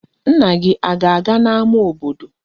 Nna gị a ga-aga n'ama obodo?